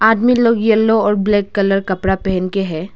आदमी लोग येलो और ब्लैक कलर का कपड़ा पहन के है।